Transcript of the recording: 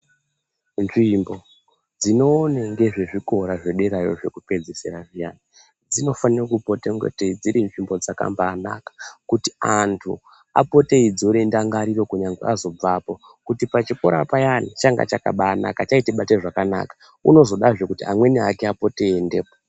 Nzvimbo dzinoonenge zvikora zvederayo zvekupedzisira zviyani dzinofane kupota ingatei dziri nzvimbo dzakamba naka kuti antu apote eidzore ndangariro chero azobvapo kuti pachikora payani changa chakabanaka chaitibate zvakanaka unozode zvekuti amweni ake apote eiendepo.